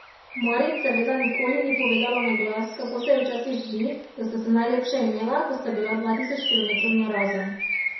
Marit seveda nikoli ni povedala na glas, kako se ji včasih zdi, da sta se najlepše imela, ko sta bila dva tisoč kilometrov narazen.